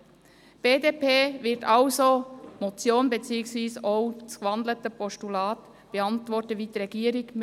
Die BDP wird die Motion beziehungsweise auch das gewandelte Postulat wie die Regierung beantworten: